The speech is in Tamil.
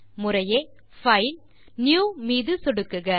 முறையே பைல் புதிய மீது சொடுக்குக